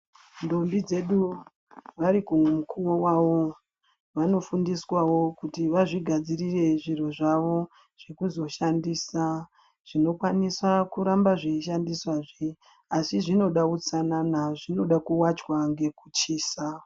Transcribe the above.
Ntombi dzedu varikumukuwo wavo vanofundiswawo kuti vazvigadzirire zvinhu zvavo zvekuzoshandisa zvinokwanisa kuramba zveishandiswa zve, asi zvinoda utsanana zvinoda kuwachwa ngekuchisa.